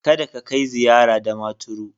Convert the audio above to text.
Kada ka kai ziyara Damaturu.